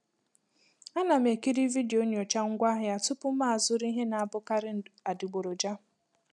A na m ekiri vidiyo nyocha ngwaahịa tupu mụ azụrụ ihe na-abụkarị adịgboroja.